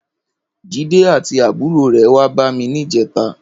Jide àtí àbúró rè wà bàmí nijètá